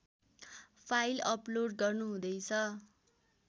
file upload गर्नुहुँदैछ